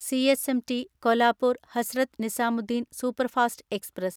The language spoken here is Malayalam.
CSMT Kolhapur Hazrat Nizamuddin superfast express